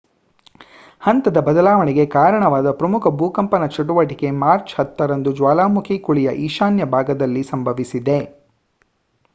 ಹಂತದ ಬದಲಾವಣೆಗೆ ಕಾರಣವಾದ ಪ್ರಮುಖ ಭೂಕಂಪನ ಚಟುವಟಿಕೆ ಮಾರ್ಚ್ 10 ರಂದು ಜ್ವಾಲಾಮುಖಿ ಕುಳಿಯ ಈಶಾನ್ಯ ಭಾಗದಲ್ಲಿ ಸಂಭವಿಸಿದೆ